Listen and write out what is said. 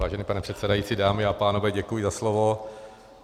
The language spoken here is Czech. Vážený pane předsedající, dámy a pánové, děkuji za slovo.